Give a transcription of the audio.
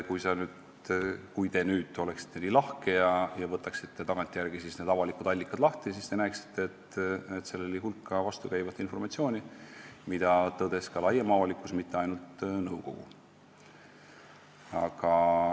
Kui te nüüd oleksite nii lahke ja võtaksite tagantjärele need avalikud allikad lahti, siis te näeksite, et oli hulk vastukäivat informatsiooni, mida tõdes ka laiem avalikkus, mitte ainult nõukogu.